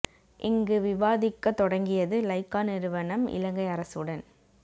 இங்கு விவாதிக்க தொடங்கியது லைக்காநிறுவனம் இலங்கை அரசுடன்